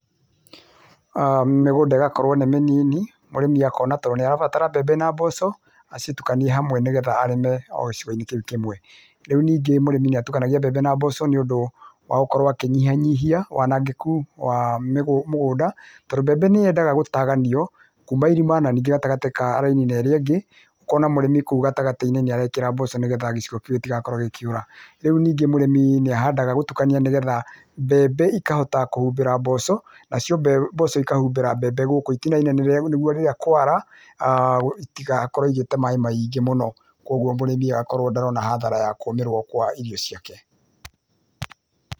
Mĩgũnda ĩgakorwo nĩ mĩnini mũrĩmi akona tondũ nĩarabatara mbembe na mboco acitũkanie hamwe nĩgetha arĩme o gĩcigoinĩ kĩu kĩmwe. Ningĩ mũrĩmi nĩatukanagia mbembe na mboco nĩ ũndũ akorwo akĩnyihanyihia wanangĩku wa mũgũnda tondũ mbembe nĩyendaga gũtaganio kuma irima na gatagatĩ ka raini na ĩrĩa ĩngĩ ũkona mũrĩmi kũu gatagatĩinĩ nĩarekĩra mboco nĩgetha gĩcigo kĩu gĩtigakorwo gĩkĩũra. Rĩu ningĩ mũrĩmi nĩahandaga gũtukania nĩgetha mbembe ikahota kũhumbĩra mboco na cio mboco ikahumbĩra mbembe gũkũ ĩtinainĩ nĩguo rĩrĩa kwara citigakorwo igĩte maaĩ maingĩ mũno koguo mũrĩmi agakorwo ndarona hathara nĩ kũmĩrwo kwa irio ciake.